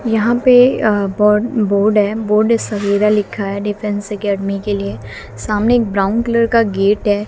यहां पे अ बोर्ड है बोर्ड सबेरा लिखा है डिफेंस अकेडमी के लिए सामने एक ब्राउन कलर का गेट है।